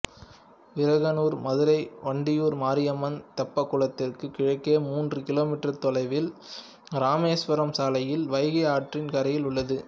விரகனூர் மதுரை வண்டியூர் மாரியம்மன் தெப்பக்குளத்திற்கு கிழக்கே மூன்று கிமீ தொலைவில் இராமேஸ்வரம் சாலையில் வைகை ஆற்றின் கரையில் உள்ளது